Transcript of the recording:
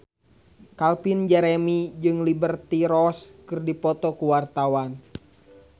Calvin Jeremy jeung Liberty Ross keur dipoto ku wartawan